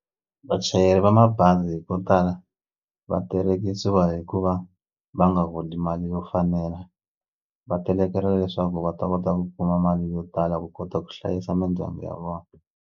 Vachayeri va mabazi vo tala va terekisiwa hi ku va va nga holi mali yo fanela va telekela leswaku va ta kota ku kuma mali yo tala ku kota ku hlayisa mindyangu ya vona.